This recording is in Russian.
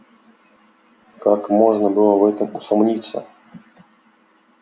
как можно было в этом усомниться